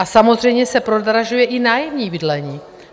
A samozřejmě se prodražuje i nájemní bydlení.